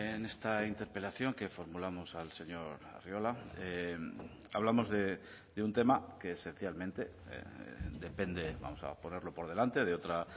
en esta interpelación que formulamos al señor arriola hablamos de un tema que esencialmente depende vamos a ponerlo por delante de otra